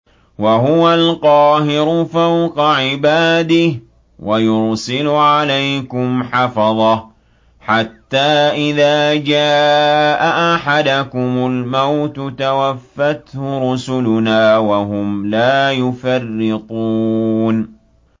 وَهُوَ الْقَاهِرُ فَوْقَ عِبَادِهِ ۖ وَيُرْسِلُ عَلَيْكُمْ حَفَظَةً حَتَّىٰ إِذَا جَاءَ أَحَدَكُمُ الْمَوْتُ تَوَفَّتْهُ رُسُلُنَا وَهُمْ لَا يُفَرِّطُونَ